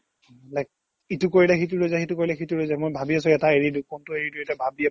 like ইটো কৰিলে সিটো ৰৈ যায় সিটো কৰিলে ইটো ৰৈ যায মই ভাবি আছো এটা এৰি দিও কোনটো এৰি দিও এতিয়া ভাবি আছো